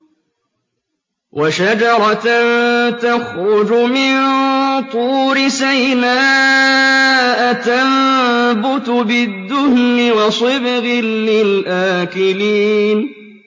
وَشَجَرَةً تَخْرُجُ مِن طُورِ سَيْنَاءَ تَنبُتُ بِالدُّهْنِ وَصِبْغٍ لِّلْآكِلِينَ